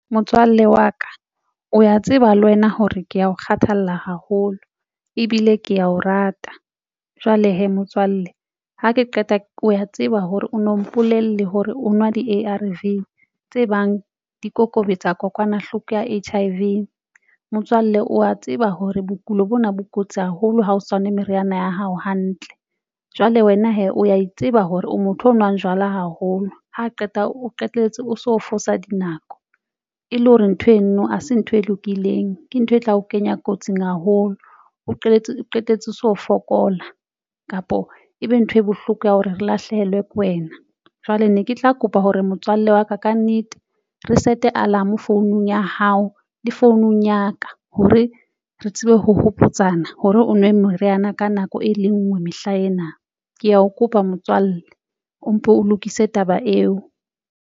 Motswalle wa ka o ya tseba le wena hore ke ya o kgathalla haholo ebile ke ya o rata jwale hee motswalle ha ke qeta o ya tseba hore o no mpolelle hore o nwa di-A_R_V tse bang di kokobetsa kokwanahloko ya H_I_V. Motswalle wa tseba hore bokulo bona bo kotsi haholo ha o sa nwe meriana ya hao hantle. Jwale wena hee o a itseba hore o motho ya nwang jwala haholo. Ha qeta o qetelletse o so fosa dinako e le hore ntho eno ha se ntho e lokileng, ke ntho e tla o kenya kotsing haholo, o qetetse o qetetse o so fokola, kapo ebe ntho e bohloko ya hore re lahlehelwe ke wena. Jwale ne ke tla kopa hore motswalle wa ka kannete re set alarm founung ya hao le founung ya ka hore re tsebe ho hopotsana hore o nwe meriana ka nako e le nngwe mehla ena ke ya o kopa motswalle o mpo o lokise taba eo.